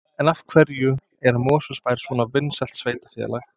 En af hverju er Mosfellsbær svona vinsælt sveitarfélag?